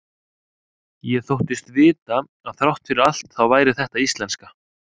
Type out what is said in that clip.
Ég þóttist vita að þrátt fyrir allt þá væri þetta íslenska.